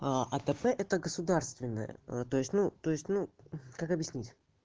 а отп это государственное а то есть ну то есть ну как объяснить